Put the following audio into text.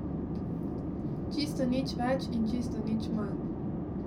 Čisto nič več in čisto nič manj.